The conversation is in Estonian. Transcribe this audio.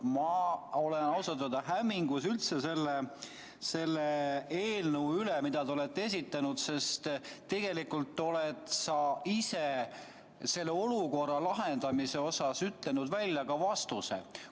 Ma olen ausalt öeldes hämmingus selle eelnõu üle, mille te olete esitanud, sest tegelikult oled sa ise selle olukorra lahendamise osas ütelnud välja ka vastuse.